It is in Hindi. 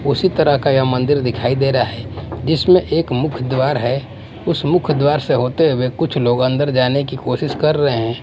उसी तरह का यह मंदिर दिखाई दे रहा है जिसमें एक मुख्य द्वार है उस मुख्य द्वार से होते हुए कुछ लोग अंदर जाने की कोशिश कर रहे हैं।